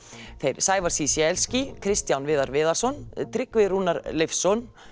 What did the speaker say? þeir Sævar Kristján Viðar Viðarsson Tryggva Rúnar Leifsson